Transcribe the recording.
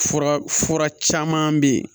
Fura fura caman bɛ yen